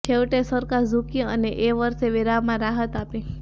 છેવટે સરકાર ઝૂકી અને એ વર્ષે વેરામાં રાહત આપી